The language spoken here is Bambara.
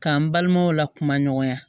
K'an balimaw la kuma ɲɔgɔnya